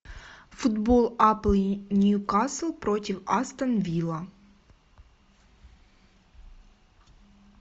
футбол апл ньюкасл против астон вилла